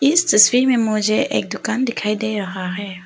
इस तस्वीर में मुझे एक दुकान दिखाई दे रहा है।